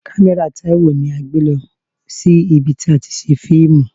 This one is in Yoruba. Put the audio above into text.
Kamera Taiwo ni a gbé lọ sí ibi tí a ti ṣe fíìmù.